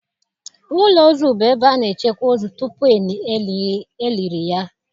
Ụlọ ozu bụ ebe a na-echekwa ozu tupu e liri ya.